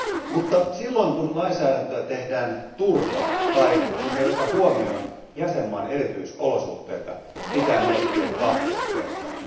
Mutta silloin kun lainsäädäntöä tehdään turhaan, tai kun se ei ota huomioon jäsenmaan erityisolosuhteita, pitää miettiä kahteen kertaan.